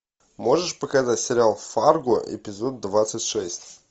можешь показать сериал фарго эпизод двадцать шесть